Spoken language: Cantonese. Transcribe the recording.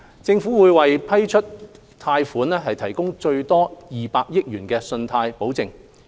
政府會為批出貸款提供最多200億元的信貸保證。